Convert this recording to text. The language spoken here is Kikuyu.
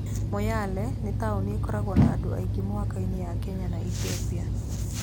Moyale nĩ taũni ĩkoragwo na andũ aingĩ mũhaka-inĩ ya Kenya na Ethiopia.